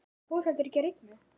Það fór heldur ekki að rigna.